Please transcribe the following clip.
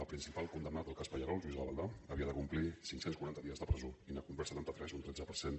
el principal condemnat del cas pallerols lluís gavaldà havia de complir cinc cents i quaranta dies de presó i n’ha complert setanta tres un tretze per cent